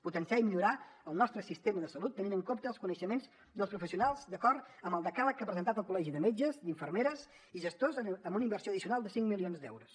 potenciar i millorar el nostre sistema de salut tenint en compte els coneixements dels professionals d’acord amb el decàleg que ha presentat el col·legi de metges amb infermeres i gestors amb una inversió addicional de cinc milions d’euros